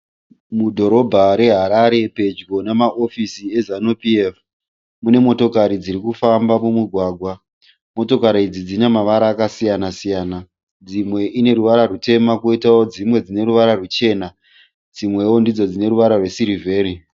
Mudhorobha reHarare pedyo nemahofisi eZanu PF. Mune motokari dzirikufamba mumugwagwa. Motokari idzi dzine mavara akasiyana siyana. Dzimwe dzine ruvara rutema dzimwe dzine ruvara ruchena. Dzimwewo ndidzo dzine ruvara rwesirivheri.